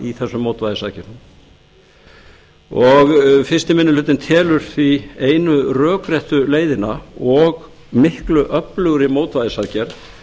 í þessum mótvægisaðgerðum fyrsti minni hlutinn telur því einu rökréttu leiðina og miklu öflugri mótvægisaðgerð